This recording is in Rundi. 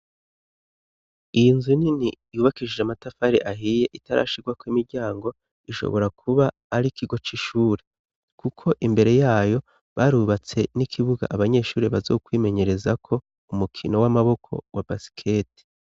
Iyi nzu nini yubakishije amatafari ahiye itarashigwako imiryango ishobora kuba ari ikigo c'ishure kuko imbere yayo barubatse n'ikibuga abanyeshuri bazokwimenyerezako umukino w'amaboko wa basikete.